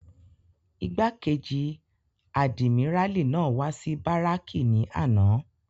Igbákejì àdìmíràlí náà wá sí báràkì ní àná.